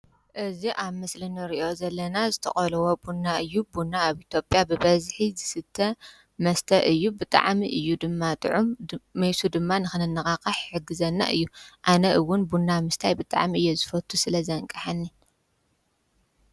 እዚ ኣብ ምስሊ ንሪኦ ዘለና ዝተቆለወ ቡና እዩ፡፡ ቡና ኣብ ኢትዮጵያ ብበዝሒ ዝስተ መስተ እዩ። ብጣዕሚ እዩ ድማ ጥዑም፣ መሱ ዉን ንኽንነቓሕ ይሕግዘና እዩ፡፡ ኣነ ውን ቡና ምስታይ ብጣዕሚ እየ ዝፈትው ስለዘንቀሐኒ።